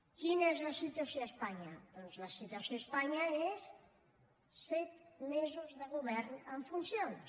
quina és la situació a espanya doncs la situació a espanya és set mesos de govern en funcions